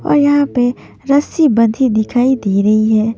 पुल पे और यहां पे रस्सी बंधी दिखाई दे रही है।